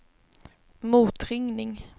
motringning